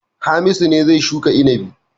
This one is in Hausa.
Hamisu ne zai shuka inabi.